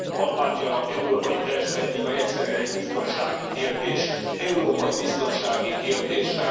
Albánia európai perspektíva, egyszerűen egy biztonsági kérdés, európai biztonsági kérdés.